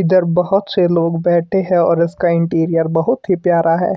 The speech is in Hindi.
इधर बहुत से लोग बैठे हैं और उसका इंटीरियर बहुत ही प्यारा है